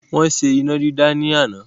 Wọ́n ṣe iná dídá ni àná.